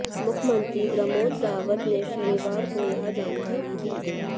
मुख्यमंत्री प्रमोद सावंत ने शनिवार को यह जानकारी दी